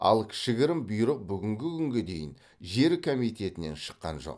ал кішігірім бұйрық бүгінгі күнге дейін жер комитетінен шыққан жоқ